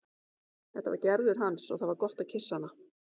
Þetta var Gerður hans og það var gott að kyssa hana.